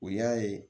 U y'a ye